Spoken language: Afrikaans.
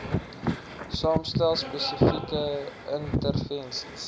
saamstel spesifieke intervensies